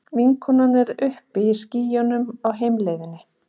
Vinkonan er uppi í skýjunum á heimleiðinni.